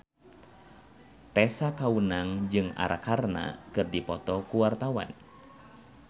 Tessa Kaunang jeung Arkarna keur dipoto ku wartawan